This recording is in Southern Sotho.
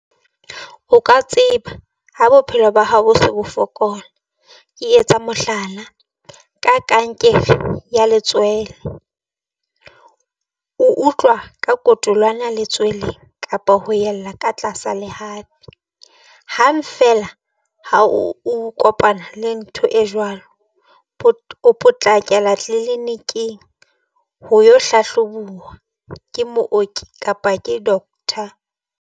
O ka tseba ha bophelo ba hao bo se bo fokola. Ke etsa mohlala ka kankere ya letswele, o utlwa ka kotolana letsweleng kapa ho yella ka tlasa lehafi. Hang feela ha o kopana le ntho e jwalo, o potlakela tleliniking ho yo hlahlobuwa ke mooki kapa ke doctor.